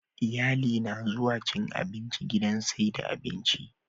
Iyali na zuwa cin abinci gidan saida abinci